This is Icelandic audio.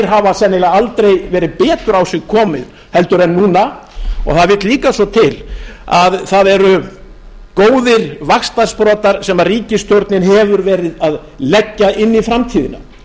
hafa sennilega aldrei verið betur á sig komnar en núna það vill líka svo til að það eru góðir vaxtarsprotar sem ríkisstjórnin hefur verið að leggja inn í framtíðina